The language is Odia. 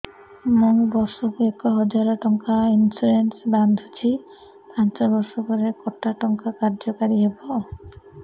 ମୁ ବର୍ଷ କୁ ଏକ ହଜାରେ ଟଙ୍କା ଇନ୍ସୁରେନ୍ସ ବାନ୍ଧୁଛି ପାଞ୍ଚ ବର୍ଷ ପରେ କଟା ଟଙ୍କା କାର୍ଯ୍ୟ କାରି ହେବ